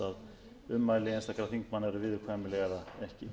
herra forseti ég man ekki